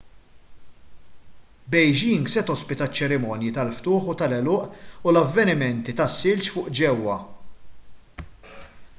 beijing se tospita ċ-ċerimonji tal-ftuħ u tal-għeluq u l-avvenimenti tas-silġ fuq ġewwa